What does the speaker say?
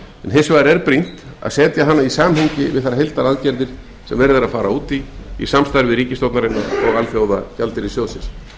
en það er afar brýnt að setja hana í samhengi við þær heildaraðgerðir sem verið er að fara út í í samstarfi ríkisstjórnarinnar alþjóðagjaldeyrissjóðsins